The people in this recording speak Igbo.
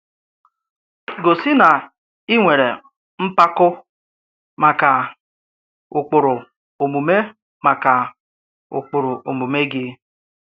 Gòsi na ị̀ nwerè mkpàkọ̀ maka ụ̀kpụrụ omume maka ụ̀kpụrụ omume gị.